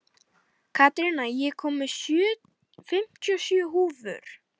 Karína, ég kom með fimmtíu og sjö húfur!